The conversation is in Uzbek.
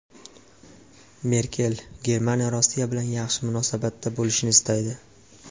Merkel: Germaniya Rossiya bilan yaxshi munosabatda bo‘lishni istaydi.